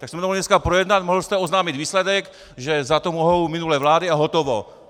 Tak jsme to mohli dneska projednat, mohl jste oznámit výsledek, že za to mohou minulé vlády, a hotovo.